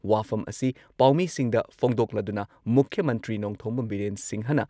ꯋꯥꯐꯝ ꯑꯁꯤ ꯄꯥꯎꯃꯤꯁꯤꯡꯗ ꯐꯣꯡꯗꯣꯛꯂꯗꯨꯅ ꯃꯨꯈ꯭ꯌ ꯃꯟꯇ꯭ꯔꯤ ꯅꯣꯡꯊꯣꯝꯕꯝ ꯕꯤꯔꯦꯟ ꯁꯤꯡꯍꯅ